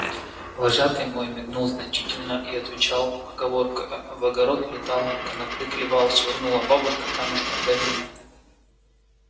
вожатый мой мигнул значительно и отвечал поговоркою в огород летал конопли клевал швырнула бабушка камушком да мимо